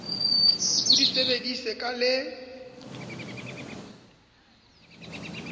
o di sebedise ka le